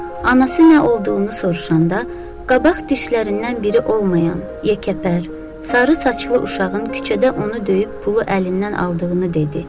Anası nə olduğunu soruşanda qabaq dişlərindən biri olmayan yekəpər, sarı saçlı uşağın küçədə onu döyüb pulu əlindən aldığını dedi.